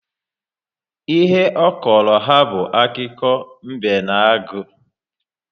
Ihe ọ kọrọ ha bụ akiko mbe na agụ